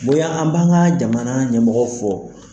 Bonya an b'an ka jamana ɲɛmɔgɔ fɔ.